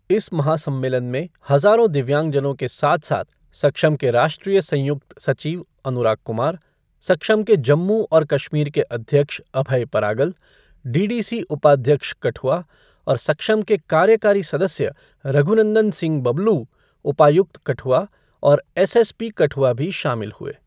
इस महा सम्मेलन में हजारों दिव्यांगजनों के साथ साथ सक्षम के राष्ट्रीय संयुक्त सचिव अनुराग कुमार, सक्षम के जम्मू और कश्मीर के अध्यक्ष अभय परागल, डीडीसी उपाध्यक्ष कठुआ और सक्षम के कार्यकारी सदस्य रघुनंदन सिंह बबलू, उपायुक्त, कठुआ और एसएसपी कठुआ भी शामिल हुए।